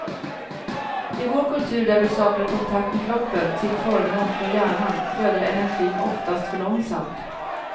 I vår kultur där vi saknar kontakt med kroppen till förmån för hjärnan flödar energin oftast för långsamt.